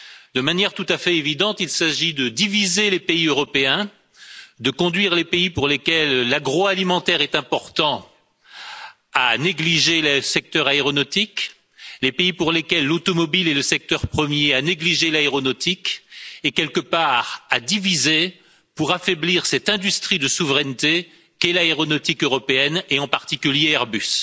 De toute évidence, il s'agit de diviser les pays européens, de conduire les pays pour lesquels l'agroalimentaire est important à négliger le secteur aéronautique, d'amener les pays pour lesquels l'automobile est le secteur premier à négliger l'aéronautique et, quelque part, de diviser pour affaiblir cette industrie de souveraineté qu'est l'aéronautique européenne et, en particulier, Airbus.